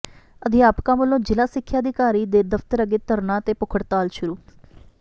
ਅਧਿਆਪਕਾਂ ਵੱਲੋਂ ਜ਼ਿਲ੍ਹਾ ਸਿੱਖਿਆ ਅਧਿਕਾਰੀ ਦੇ ਦਫ਼ਤਰ ਅੱਗੇ ਧਰਨਾ ਤੇ ਭੁੱਖ ਹੜਤਾਲ ਸ਼ੁਰੂ